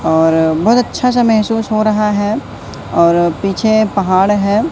और बहोत अच्छा सा महसूस हो रहा है और पीछे पहाड़ है।